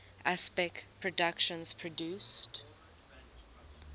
aspect productions produced